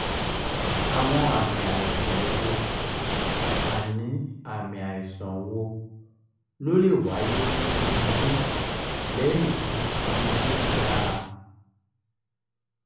àwọn àmì aisan wo àmì aisan wo ló lè wáyé ninu omode lẹ́yìn tí igo gba a?